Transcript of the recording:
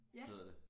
Hedder det